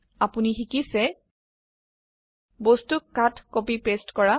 আপোনি শিকিছে বস্তুক কাট কপি পেস্ট কৰা